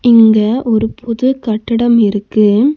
இங்க ஒரு புது கட்டடம் இருக்கு.